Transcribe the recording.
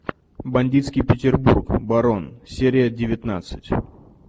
бандитский петербург барон серия девятнадцать